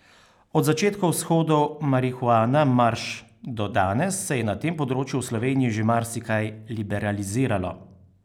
Od začetkov shodov Marihuana marš do danes se je na tem področju v Sloveniji že marsikaj liberaliziralo.